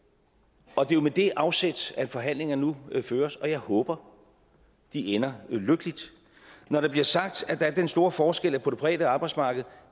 og det er jo med det afsæt at forhandlingerne nu føres og jeg håber de ender lykkeligt når der bliver sagt at der er den store forskel at på det private arbejdsmarked